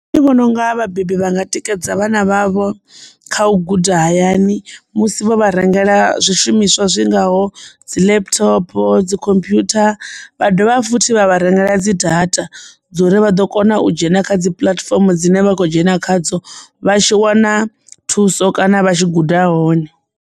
Nṋe ndi vhona unga vhabebi vha nga tikedza vhana vhavho kha u guda hayani musi vho vha rengela zwishumiswa zwi ngaho dzi laptop dzi computer vha dovha futhi vha vha rengela dzi data dzi uri vha ḓo kona u dzhena kha dzi puḽatifomo dzine vha kho dzhena khadzo vha tshi wana thuso kana vha tshi guda hone.